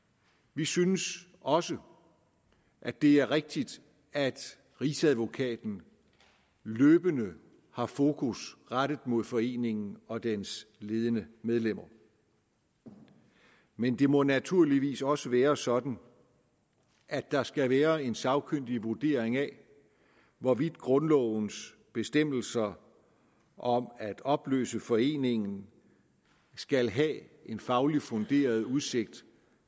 vi synes også at det er rigtigt at rigsadvokaten løbende har fokus rettet mod foreningen og dens ledende medlemmer men det må naturligvis også være sådan at der skal være en sagkyndig vurdering af hvorvidt grundlovens bestemmelser om at opløse foreningen skal have en fagligt funderet udsigt